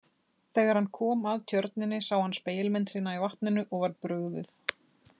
Þegar hann kom að tjörninni sá hann spegilmynd sína í vatninu og var brugðið.